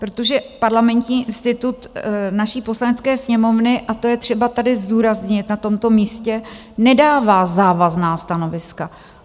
Protože Parlamentní institut naší Poslanecké sněmovny, a to je třeba tady zdůraznit, na tomto místě, nedává závazná stanoviska.